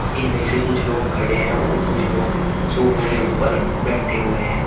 इनमें से कुछ लोग खड़े हैं और कुछ लोग सोफ़ों के ऊपर बैठे हुए हैं।